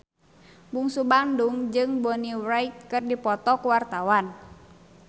Bungsu Bandung jeung Bonnie Wright keur dipoto ku wartawan